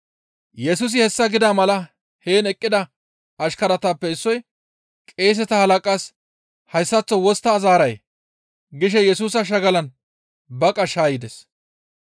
Yesusi hessa gida mala heen eqqida ashkaratappe issoy, «Qeeseta halaqas hayssaththo wostta zaaray?» gishe Yesusa shagalan baqa shaayides.